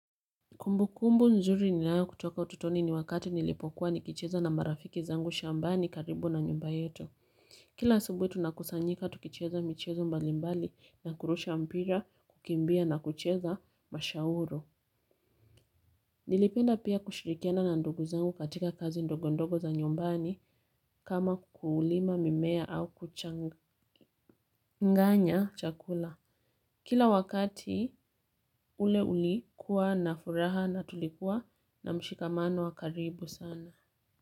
Kumbu kumbu nzuri ninayo kutoka utotoni ni wakati nilipokuwa nikicheza na marafiki zangu shambani karibu na nyumba yetu. Kila asebuhi tunakusanyika tukicheza michezo mbalimbali na kurusha mpira, kukimbia na kucheza mashauru. Nilipenda pia kushirikiana na ndugu zangu katika kazi ndogo ndogo za nyumbani kama kulima mimea au kuchanga. Nganya chakula. Kila wakati ule ulikuwa na furaha na tulikuwa na mshikamano wa karibu sana. Kwa hivyo.